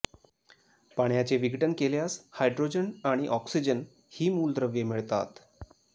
पाण्याचे विघटन केल्यास हायड्रोजन आणि ऑक्सिजन ही मूलद्रव्ये मिळतात